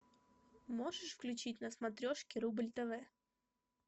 можешь включить на смотрешке рубль тв